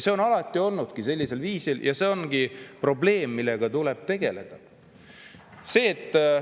See on alati toimunud sellisel viisil ja see ongi probleem, millega tuleb tegeleda.